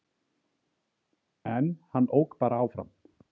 En hann ók bara áfram